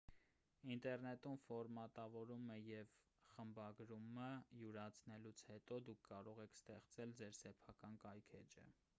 ինտերնետում ֆորմատավորումը և խմբագրումը յուրացնելուց հետո դուք կարող եք ստեղծել ձեր սեփական կայքէջը